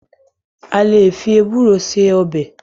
A lè fi ewúro se ọbẹ̀.